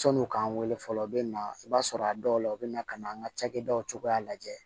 Sɔni k'an wele fɔlɔ u bɛ na i b'a sɔrɔ a dɔw la u bɛ na ka na an ka cakɛdaw cogoya lajɛ